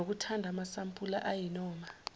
nokuthatha amasampula ayinoma